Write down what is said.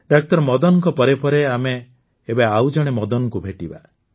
ଡାକ୍ତର ମଦନଙ୍କ ପରେ ପରେ ଆମେ ଏବେ ଆଉଜଣେ ମଦନଙ୍କୁ ଭେଟିବା